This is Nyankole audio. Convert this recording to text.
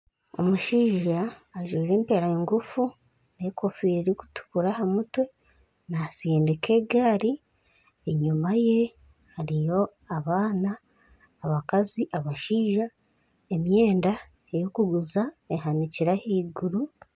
Omushaija ajwaire empare ngufu n'enkofiira erikutukura aha mutwe naatsindika egaari enyuma ye hariyo abaana, abakazi, abashaija. Emyenda y'okuguza ehanikirwe ahaiguru.